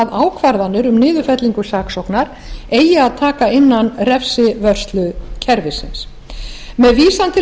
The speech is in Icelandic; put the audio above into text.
ákvarðanir um niðurfellingu saksóknar eigi að taka innan refsivörslukerfisins með vísan til